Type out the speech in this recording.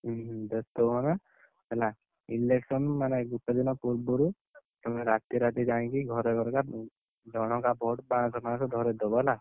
ଉଁ ହୁଁ ବେସ୍ତ ହୁଅନା। ହେଲା, election ମାନେ ଗୋଟେ ଦିନ ପୂର୍ବରୁ, ତମେ ରାତି ରାତି ଯାଇକି ଘରେ ଜଣକା per ପାଂଶ ପାଂଶ ଧରେଇଦବ ହେଲା?